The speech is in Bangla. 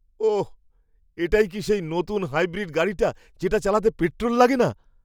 ওহ! এটাই কি সেই নতুন হাইব্রিড গাড়িটা, যেটা চালাতে পেট্রোল লাগে না?